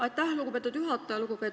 Aitäh, lugupeetud juhataja!